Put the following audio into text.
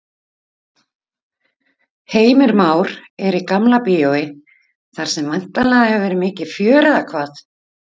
Heimir Már er í Gamla bíói þar sem væntanlega hefur verið mikið fjör eða hvað?